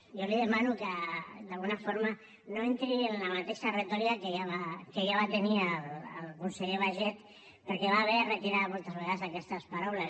jo li demano que d’alguna forma no entri en la mateixa retòrica que ja va tenir el conseller baiget perquè va haver de retirar moltes vegades aquestes paraules